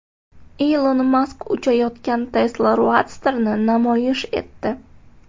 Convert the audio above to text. Ilon Mask uchayotgan Tesla Roadster’ni namoyish etdi .